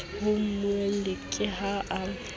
ho mmuelli ke ha a